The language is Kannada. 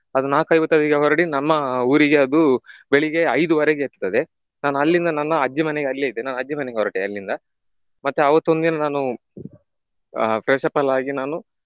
ಅದು ನಾಕು ಐವತ್ತೈದಿಗೆ ಹೊರಡಿ ನಮ್ಮ ಊರಿಗೆ ಅದು ಬೆಳಿಗ್ಗೆ ಐದುವರೆಗೆ ಎತ್ತುತ್ತದೆ . ನಾನ್ ಅಲ್ಲಿಂದ ನನ್ನ ಅಜ್ಜಿಮನೆ ಅಲ್ಲಿಯೇ ಇದೆ ನಾನ್ ಅಜ್ಜಿಮನೆಗೆ ಹೊರಟೆ ಅಲ್ಲಿಂದ. ಮತ್ತೆ ಅವತ್ತೊಂದಿನ ನಾನು ಆಹ್ freshup ಎಲ್ಲ ಆಗಿ ನಾನು ಆಹ್